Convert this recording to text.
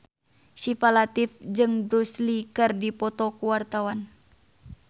Syifa Latief jeung Bruce Lee keur dipoto ku wartawan